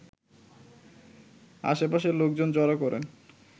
আশপাশের লোকজন জড়ো করেন